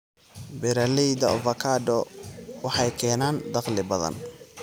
Beeralayda avocado waxay keenaan dakhli badan.